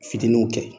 Fitininw kɛ